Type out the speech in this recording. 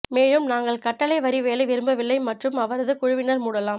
மேலும் நாங்கள் கட்டளை வரி வேலை விரும்பவில்லை மற்றும் அவரது குழுவினர் மூடலாம்